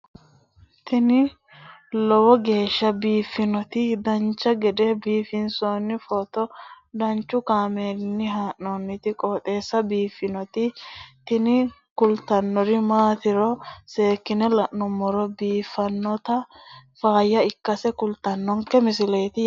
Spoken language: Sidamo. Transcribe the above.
tini lowo geeshsha biiffannoti dancha gede biiffanno footo danchu kaameerinni haa'noonniti qooxeessa biiffannoti tini kultannori maatiro seekkine la'niro biiffannota faayya ikkase kultannoke misileeti yaate